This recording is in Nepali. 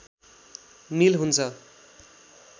मिल हुन्छ